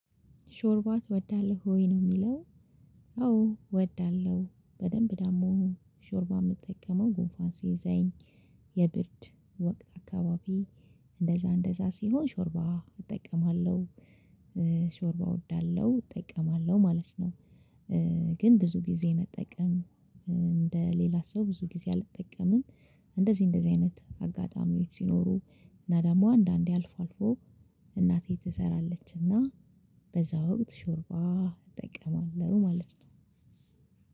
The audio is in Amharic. ሾርባ ትወዳለሁ ወይ ነው የሚለው? አዎ እወዳለሁ በደንብ ደሞ ሾርባ የምትጠቀመው ጉንፋን ሲይዘኝ የብርድ ወቅት አካባቢ እንደዛ እንደዛ ሲሆን ሾርባ እጠቀማለሁ ሾርባ እወዳለሁ እጠቀማለሁ ማለት ነው። ግን ብዙ ጊዜ መጠቀም እንደ ሌላ ሰው ብዙ ጊዜ አልጠቀምም። እንደዚህ እንደዚህ አይነት አጋጣሚዎች ሲኖሩ እና ደሞ አንዳንዴ አልፎ አልፎ እናቴ ትሰራለችና በዛ ወቅት ሾርባ እጠቀማለሁ ማለት ነው።